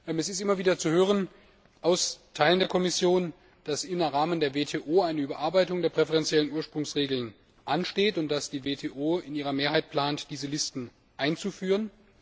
Es ist immer wieder aus Teilen der Kommission zu hören, dass im Rahmen der WTO eine Überarbeitung der präferenziellen Ursprungsregeln ansteht und dass die WTO in ihrer Mehrheit plant, diese Listen einzuführen.